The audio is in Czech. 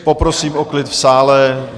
Poprosím o klid v sále.